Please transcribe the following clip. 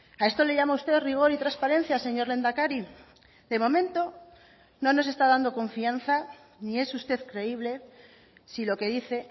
a esto le llama usted rigor y transparencia señor lehendakari de momento no nos está dando confianza ni es usted creíble si lo que dice